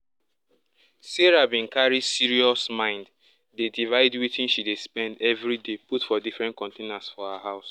sarah bin carry serious mind dey divide wetin she dey spend every day put for different containers for her house